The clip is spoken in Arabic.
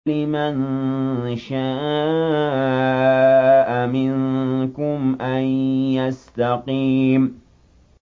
لِمَن شَاءَ مِنكُمْ أَن يَسْتَقِيمَ